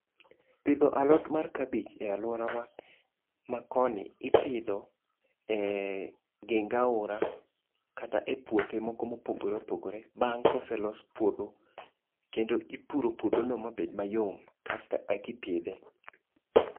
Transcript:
Pidho alot mar kabich e aluorawa makoni ipidho e geng aora kata e puothe moko ma opogore opogore bang koselos puodho kendo ipuro puodho no mabed mayom kasto eka ipidhe